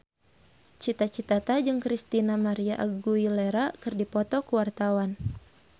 Cita Citata jeung Christina María Aguilera keur dipoto ku wartawan